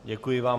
Děkuji vám.